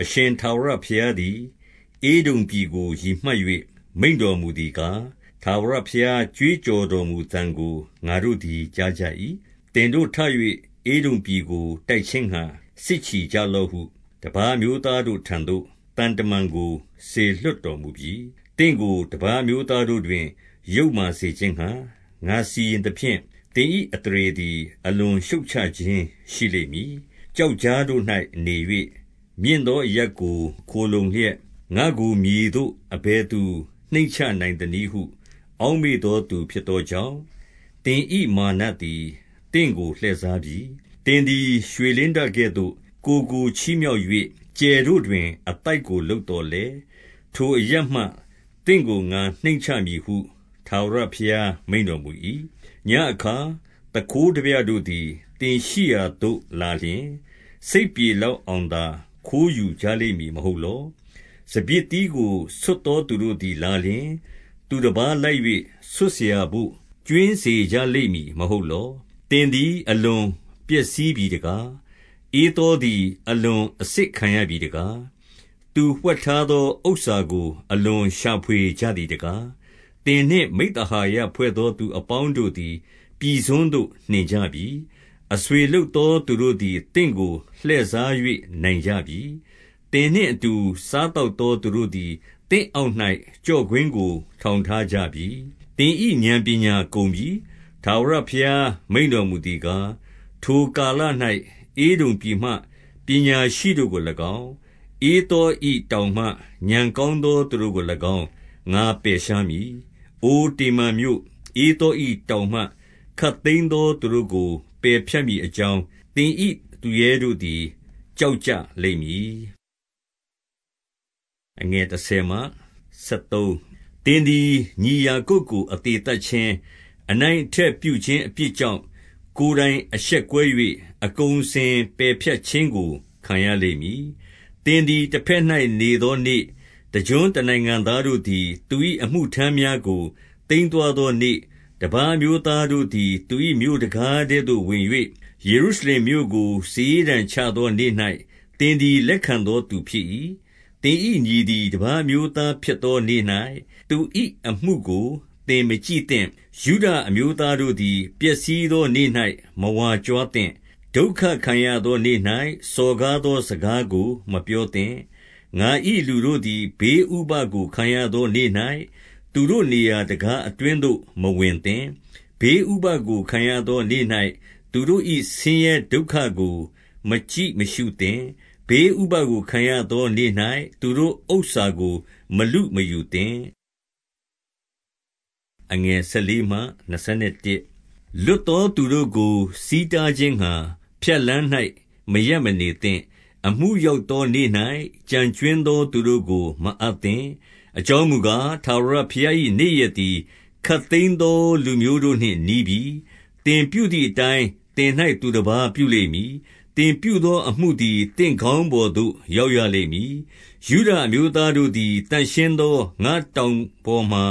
အရှင်ထာဝရဘုရားသည် ဧဒုံပြည်ကို ရည်မှတ် ၍ မိန့်တော်မူသည်ကား၊ ထာဝရဘုရား ကြွေးကြော်တော် မူသံကို ငါတို့သည် ကြားကြ၏။ သင်တို့ထ၍ ဧဒုံပြည်ကို တိုက်ခြင်းငှါ စစ်ချီကြလော့ဟု၊ တပါးအမျိုးသားတို့ထံသို့ သံတမန်ကို စေလွှတ်တော်မူပြီ။ သင့်ကို တပါးအမျိုးသားတို့တွင် ယုတ်မာစေခြင်း ငှါ ငါစီရင်သဖြင့်၊ သင်၏အသရေသည် အလွန်ရှုတ်ချ ခြင်းရှိလိမ့်မည်။ ကျောက်ကြားတို့၌နေ၍ မြင့်သောအရပ်ကို ခိုလှုံလျက်၊ ငါ့ကို မြေသို့ အဘယ်သူ နှိမ့်ချနိုင်သနည်းဟု အောက်မေ့သောသူ ဖြစ်သောကြောင့်၊ သင်၏မာနသည် သင့်ကို လှည့်စားပြီ။ သင်သည် ရွှေလင်းတကဲ့သို့ ကိုယ်ကို ချီးမြှောက် ၍၊ ကြယ်တို့တွင် အသိုက်ကို လုပ်သော်လည်း၊ ထိုအရပ်မှ သင့်ကို ငါနှိမ့်ချမည်ဟု ထာဝရဘုရား မိန့်တော်မူ၏။ ညဉ့်အခါ သူခိုးထားပြတို့သည် သင်ရှိရာသို့ လာ လျှင်၊ စိတ်ပြေလောက်အောင်သာ ခိုးယူကြလိမ့်မည် မဟုတ်လော။ စပျစ်သီးကို ဆွတ်သောသူတို့သည် လာ လျှင်၊ သူတပါးလိုက်၍ ဆွတ်စရာဘို့ ကြွင်းစေကြလိမ့်မည် မဟုတ်လော။ သင်သည် အလွန်ပျက်စီးပြီတကား။ ဧသော သည် အလွန်အစစ်ခံရပြီတကား။ သူဝှက်ထားသော ဥစ္စာ ကို အလွန်ရှာဖွေကြသည်တကား။ သင်နှင့်မိဿဟာယဖွဲ့သော သူအပေါင်းတို့ သည် ပြည်စွန်းသို့ နှင်ကြပြီ။ အဆွေလုပ်သော သူတို့သည် သင့်ကို လှည့်စား၍ နိုင်ကြပြီ။ သင်နှင့်အတူ စားသောက် သောသူတို့သည် သင့်အောက်၌ ကျော့ကွင်းကို ထောင် ထားကြပြီ။ သင်၏ဥာဏ်ပညာ ကုန်ပြီ။ ထာဝရဘုရား မိန့်တော်မူသည်ကား၊ ထိုကာလ ၌ ဧဒုံပြည်မှ ပညာရှိတို့ကို၎င်း၊ ဧသော၏တောင်မှ ဥာဏ် ကောင်းသော သူတို့ကို၎င်း ငါပယ်ရှားမည်။ အိုတေမန်မြို့၊ ဧသော၏တောင်မှ ခပ်သိမ်းသော သူတို့ကို ပယ်ဖြတ်မည်အကြောင်း၊ သင်၏ သူရဲတို့သည် ကြောက်ကြလိမ့်မည်။ သင်သည် ညီယာကုပ်ကို အသေသတ်ခြင်း၊ အနိုင်အထက်ပြုခြင်းအပြစ်ကြောင့် ကိုယ်တိုင်အရှက်ကွဲ ၍၊ အကုန်အစင်ပယ်ဖြတ်ခြင်းကို ခံရလိမ့်မည်။ သင်သည် တဘက်၌နေသောနေ့၊ တကျွန်းတ နိုင်ငံသားတို့သည် သူ၏အမှုထမ်းများကို သိမ်းသွားသော နေ့၊ တပါးအမျိုးသားတို့သည် သူ၏မြို့တံခါးထဲသို့ ဝင်၍ ယေရုရှလင်မြို့ကို စာရေးတံချသောနေ့၌ သင်သည် လက်ခံသောသူဖြစ်၏။ သင်၏ညီသည် တပါးအမျိုးသားဖြစ်သောနေ့၌ သူ၏အမှုကို သင်မကြည့်သင့်။ ယုဒအမျိုးသားတို့သည် ပျက်စီးသောနေ့၌ မဝါကြွားသင့်။ ဒုက္ခခံရသောနေ့၌ စော်ကားသောစကားကို မပြောသင့်။ ငါ၏လူတို့သည် ဘေးဥပဒ်ကို ခံရသောနေ့၌ သူတို့နေရာတံခါးအတွင်းသို့ မဝင်သင့်။ ဘေးဥပဒ်ကို ခံရ သောနေ့၌ သူတို့၏ဆင်းရဲဒုက္ခကို မကြည့်မရှုသင့်။ ဘေး ဥပဒ်ကို ခံရသောနေ့၌ သူတို့ဥစ္စာကို မလုမယူသင့်။ လွတ်သောသူတို့ကို ဆီးတားခြင်းငှါ ဖြတ်လမ်း၌ မရပ်မနေသင့်။ အမှုရောက်သောနေ့၌ ကျန်ကြွင်းသော သူတို့ကို မအပ်သင့်။ အကြောင်းမူကား၊ ထာဝရဘုရား၏နေ့ရက် သည် ခပ်သိမ်းသောလူမျိုးတို့နှင့် နီးပြီ။ သင်ပြုသည်အ တိုင်း သင်၌ သူတပါးပြုလိမ့်မည်။ သင်ပြုသောအမှုသည် သင့်ခေါင်းပေါ်သို့ ရောက်ရလိမ့်မည်။ ယုဒအမျိုးသားတို့သည် သန့်ရှင်းသော ငါ့တောင် ပေါ်မှာ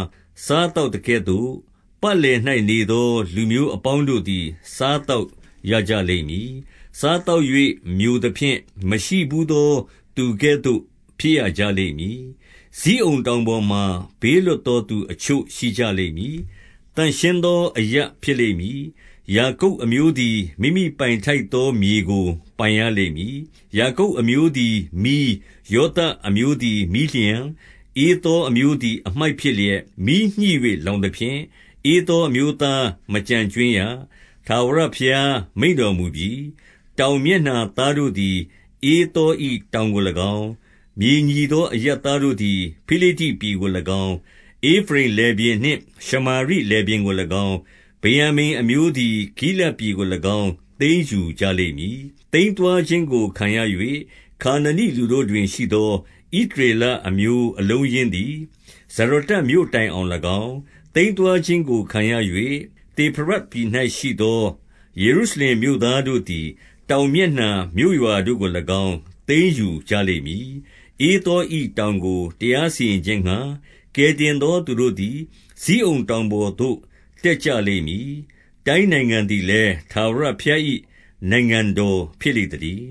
စားသောက်သကဲ့သို့၊ ပတ်လည်၌နေသော လူမျိုး အပေါင်းတို့သည် စားသောက်ရကြလိမ့်မည်။ စားသောက် ၍ မျိုသဖြင့် မရှိဘူးသောသူကဲ့သို့ ဖြစ်ရကြလိမ့်မည်။ ဇိအုန်တောင်ပေါ်မှာ ဘေးလွတ်သောသူအချို့ ရှိကြလိမ့်မည်။ သန့်ရှင်းသောအရပ်ဖြစ်လိမ့်မည်။ ယာ ကုပ်အမျိုးသည် မိမိပိုင်ထိုက်သောမြေကို ပိုင်ရလိမ့်မည်။ ယာကုပ်အမျိုးသည် မီး၊ ယောသပ်အမျိုးသည် မီးလျှံ၊ ဧသောအမျိုးသည် အမှိုက်ဖြစ်လျက် မီးညှိ၍ လောင်သဖြင့်၊ ဧသောအမျိုးသား မကျန်ကြွင်းရ။ ထာဝရ ဘုရားမိန့်တော်မူပြီ။ တောင်မျက်နှာသားတို့သည် ဧသော၏တောင် ကို၎င်း၊ မြေညီသောအရပ်သားတို့သည် ဖိလိတ္တိပြည်ကို ၎င်း၊ ဧဖရိမ်လယ်ပြင်နှင့် ရှမာရိလယ်ပြင်ကို၎င်း၊ ဗင်္ယာ မိန်အမျိုးသည် ဂိလဒ်ပြည်ကို၎င်း သိမ်းယူကြလိမ့်မည်။ သိမ်းသွားခြင်းကို ခံရ၍၊ ခါနနိလူတို့တွင်ရှိသော ဣသရေလအမျိုးအလုံးအရင်းသည် ဇရတ္တမြို့တိုင်အောင်၎င်း၊ သိမ်းသွားခြင်းကို ခံရ၍ သေဖရဒ်ပြည်၌ရှိသော ယေရုရှလင်မြို့သားတို့သည် တောင်မျက်နှာ မြို့ရွာတို့ကို ၎င်း သိမ်းယူကြလိမ့်မည်။ ဧသော၏တောင်ကို တရားစီရင်ခြင်းငှါ ကယ် တင်သောသူတို့သည် ဇိအုန်တောင်ပေါ်သို့ တက်ကြလိမ့် မည်။ တိုင်းနိုင်ငံသည်လည်း ထာဝရဘုရား၏ နိုင်ငံတော် ဖြစ်လိမ့်သတည်